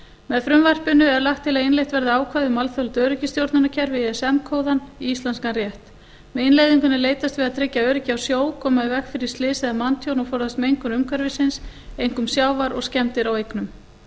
með frumvarpinu er lagt til að innleitt verði ákvæði um alþjóðlegt öryggisstjórnunarkerfi ism kóðann í íslenskan rétt með innleiðingunni er leitast við að tryggja öryggi á sjó koma í veg fyrir slys eða manntjón og forðast mengun umhverfisins einkum sjávar og skemmdir á eignum